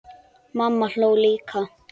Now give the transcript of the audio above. Mamma hló líka.